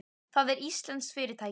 Það er íslenskt fyrirtæki.